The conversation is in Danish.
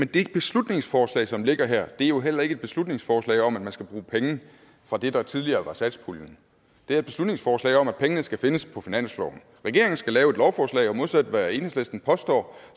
det beslutningsforslag som ligger her er jo heller ikke et beslutningsforslag om at man skal bruge penge fra det der tidligere var satspuljen det er et beslutningsforslag om at pengene skal findes på finansloven regeringen skal lave et lovforslag og modsat hvad enhedslisten påstår